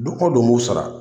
Dun ko don n b'u sara